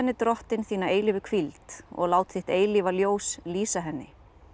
drottinn þína eilífu hvíld og lát þitt eilífa ljós lýsa henni